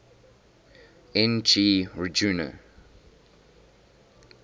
n g rjuna